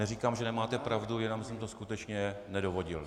Neříkám, že nemáte pravdu, jenom jsem to skutečně nedovodil.